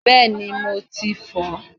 Bẹ́ẹ̀ni mo ti fò ó